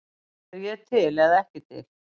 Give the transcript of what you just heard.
Er ég til eða ekki til?